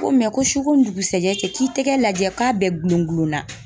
Ko ko su ko ni dugusɛkɛ cɛ, k'i tɛgɛ lajɛ k'a bɛɛ gulon gulon na.